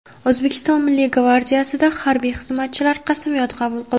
O‘zbekiston Milliy gvardiyasida harbiy xizmatchilar qasamyod qabul qildi.